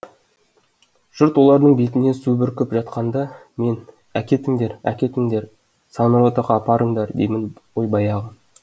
жұрт олардың бетіне су бүркіп жатқанда мен әкетіңдер әкетіңдер санротаға апарыңдар деймін ғой баяғы